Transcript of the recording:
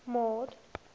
mord